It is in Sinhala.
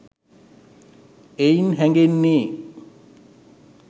එයින් හැඟෙන්නේ